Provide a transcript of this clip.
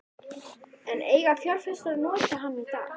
En eiga fjárfestar að nota hann í dag?